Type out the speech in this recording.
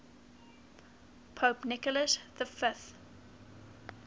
pope nicholas v